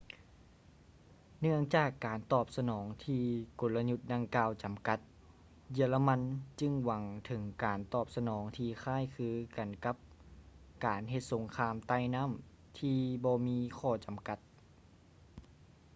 ເນື່ອງຈາກການຕອບສະໜອງຕໍ່ກົນລະຍຸດດັ່ງກ່າວຈຳກັດ ເຢຍລະມັນຈຶ່ງຫວັງເຖິງການຕອບສະໜອງທີ່ຄ້າຍຄືກັນກັບການເຮັດສົງຄາມໃຕ້ນໍ້າທີ່ບໍ່ມີຂໍ້ຈຳກັດ